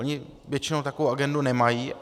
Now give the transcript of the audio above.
Oni většinou takovou agendu nemají.